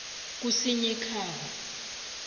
kusinyikhaba